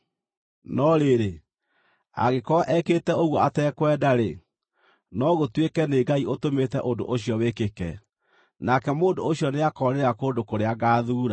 No rĩrĩ, angĩkorwo ekĩte ũguo atekwenda-rĩ, no gũtuĩke nĩ Ngai ũtũmĩte ũndũ ũcio wĩkĩke, nake mũndũ ũcio nĩakoorĩra kũndũ kũrĩa ngaathuura.